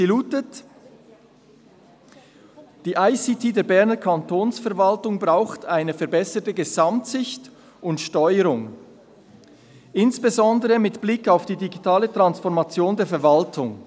Sie lautet: «Die ICT der Berner Kantonsverwaltung braucht eine verbesserte Gesamtsicht und Steuerung, insbesondere mit Blick auf die digitale Transformation der Verwaltung.